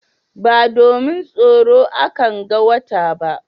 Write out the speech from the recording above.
Ba domin tsaro a kan ga wata ba